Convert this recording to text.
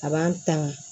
A b'an tanga